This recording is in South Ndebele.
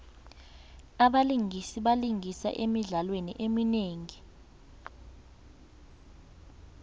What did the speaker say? abalingisi balingisa emidlalweni eminingi